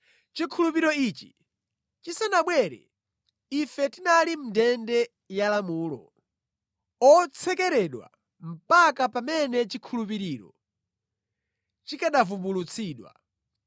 Chikhulupiriro ichi chisanabwere, ife tinali mʼndende ya lamulo, otsekeredwa mpaka pamene chikhulupiriro chikanavumbulutsidwa.